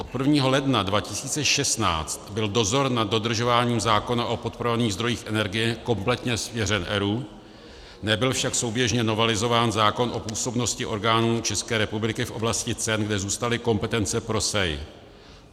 Od 1. ledna 2016 byl dozor nad dodržováním zákona o podporovaných zdrojích energie kompletně svěřen ERÚ, nebyl však souběžně novelizován zákon o působnosti orgánů České republiky v oblasti cen, kde zůstaly kompetence pro SEI.